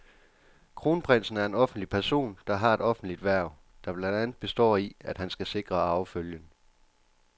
Kronprinsen er en offentlig person, der har et offentligt hverv, der blandt andet består i, at han skal sikre arvefølgen.